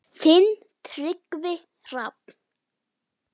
Þinn Tryggvi Hrafn.